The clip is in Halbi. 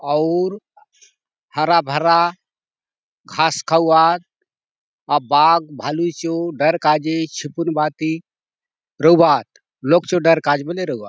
आउर हरा भरा घास खाऊ आत अ बाघ भालू चो डर काजे छुपुन भांति रहू आतलोग चो डर काजे बले रहू आत।